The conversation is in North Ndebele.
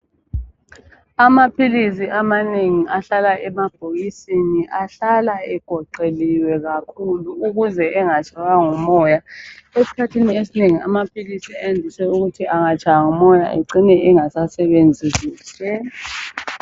Amaphilisi amanengi ahlala emabhokisi ahlala egoqeliwe kakhulu ukuze engatshaywa ngumoya. Esikhathini esinengi amaphilisi andise ukuthi angatshywa ngumoya acine engasasebenzi kuhle.